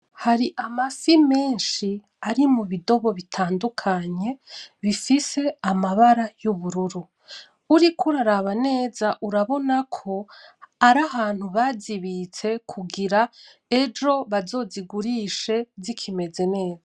Hari amafi menshi ari m’ubidobo bitandukanye bifise amambara y’ubururu uriko uraraba neza urabonako arahantu bazibiste kungira, ejo bazozigurishe zikimeze neza.